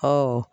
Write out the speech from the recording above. Ɔwɔ